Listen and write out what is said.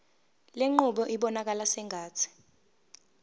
lenqubo ibonakala sengathi